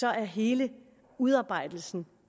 er hele udarbejdelsen